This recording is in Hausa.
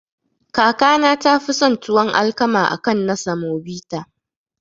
Kakana tafi son tuwon alkama akan na samobita.